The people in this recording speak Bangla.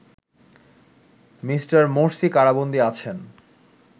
মি. মোরসি কারাবন্দী আছেন